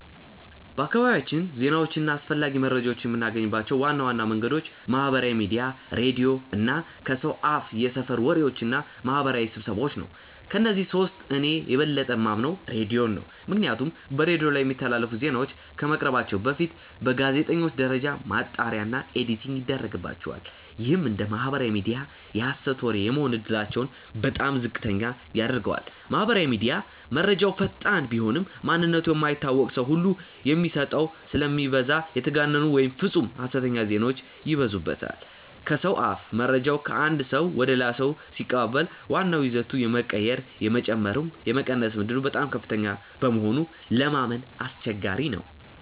በአካባቢያችን ዜናዎችን እና አስፈላጊ መረጃዎችን የምናገኝባቸው ዋና ዋና መንገዶች ማህበራዊ ሚዲያ፣ ሬዲዮ እና ከሰው አፍየሰፈር ወሬዎች እና ማህበራዊ ስብሰባዎ ናቸው። ከእነዚህ ሶስቱ እኔ የበለጠ የማምነው ሬዲዮን ነው። ምክንያቱም በሬዲዮ ላይ የሚተላለፉ ዜናዎች ከመቅረባቸው በፊት በጋዜጠኞች ደረጃ ማጣሪያ እና ኤዲቲንግ ይደረግባቸዋል። ይህም እንደ ማህበራዊ ሚዲያ የሀሰት ወሬ የመሆን እድላቸውን በጣም ዝቅተኛ ያደርገዋል። ማህበራዊ ሚዲያ፦ መረጃው ፈጣን ቢሆንም፣ ማንነቱ የማይታወቅ ሰው ሁሉ የሚโพስተው ስለሚበዛ የተጋነኑ ወይም ፍፁም ሀሰተኛ ዜናዎች ይበዙበታል። ከሰው አፍ፦ መረጃው ከአንድ ሰው ወደ ሌላ ሰው ሲቀባበል ዋናው ይዘቱ የመቀየር፣ የመጨመር ወይም የመቀነስ ዕድሉ በጣም ከፍተኛ በመሆኑ ለማመን አስቸጋሪ ነው።